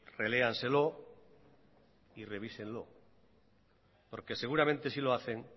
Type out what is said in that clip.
reléanselo y revísenlo porque seguramente si lo hacen